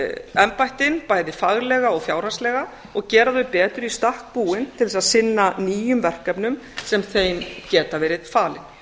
embættin bæði faglega og fjárhagslega og gera þau betur í stakk búin til þess að sinna nýjum verkefnum sem þeim geta verið falin